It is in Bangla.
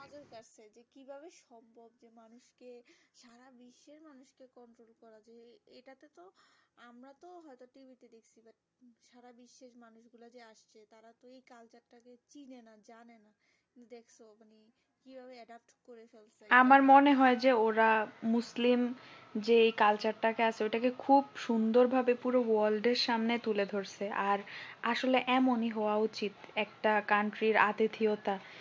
আমার মনে হয় যে ওরা মুসলিম যে culture টা কে আছে ওটাকে খুব সুন্দর ভাবে পুরো world র সামনে তুলেছে ধরছে আর আসলে এমনই হওয়া উচিত একটা country আতিথিয়তা